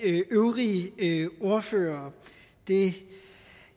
øvrige ordførere